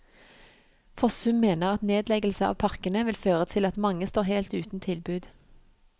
Fossum mener at nedleggelse av parkene vil føre til at mange står helt uten tilbud.